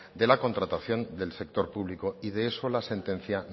de la contratación del sector público y de eso la sentencia